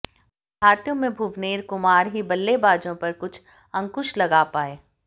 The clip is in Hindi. भारतीयों में भुवनेर कुमार ही बल्लेबाजों पर कुछ अंकुश लगा पाये